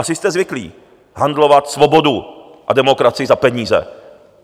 Asi jste zvyklí handlovat svobodu a demokracii za peníze.